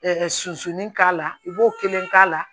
susuli k'a la i b'o kelen k'a la